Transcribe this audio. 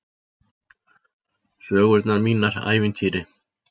Sögurnar mínar ævintýri.